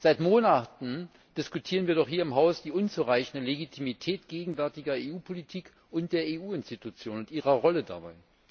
Seit Monaten diskutieren wir doch hier im Haus die unzureichende Legitimität der gegenwärtigen EU Politik und der EU Institutionen und ihrer Rolle dabei.